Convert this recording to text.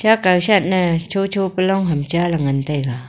akow shat ne cho cho kya lon hi cha ngan tega.